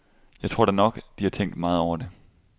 Jeg tror da nok, at de har tænkt meget over det.